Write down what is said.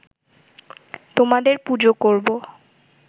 তোমাদের পুজো করব